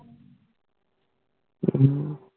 ਹੱਮ